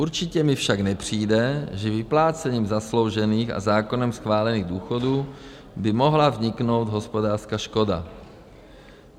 Určitě mi však nepřijde, že vyplácením zasloužených a zákonem schválených důchodů by mohla vzniknout hospodářská škoda.